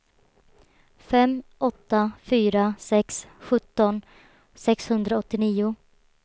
fem åtta fyra sex sjutton sexhundraåttionio